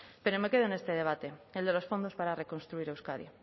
pero me quedo en este debate el de los fondos para reconstruir euskadi